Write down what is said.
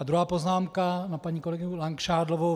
A druhá poznámka na paní kolegyni Langšádlovou.